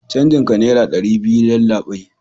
canjin ka naira dari biyu yallabai